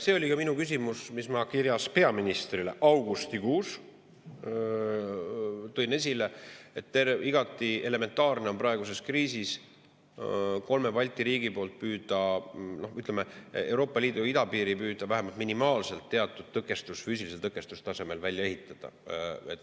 See oli ka minu küsimus, mille ma kirjas peaministrile augustikuus esile tõin, et igati elementaarne on praeguses kriisis kolme Balti riigi poolt püüda Euroopa Liidu idapiiril vähemalt minimaalsel tasemel teatud füüsiline tõkestus välja ehitada.